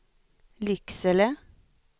Lycksele